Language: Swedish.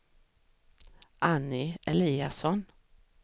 Annie Eliasson